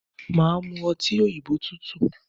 Màá mu ọtí òyìnbó tútù